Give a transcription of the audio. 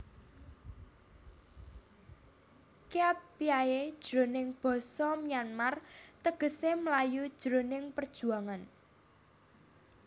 Kyatpyae jroning basa Myanmar tegesé mlayu jroning perjuangan